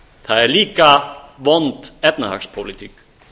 það er líka vond efnahagspólitík